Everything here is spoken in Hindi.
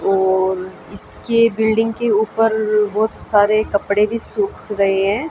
और इसके बिल्डिंग के ऊपर बहुत सारे कपड़े भी सूख रहे हैं।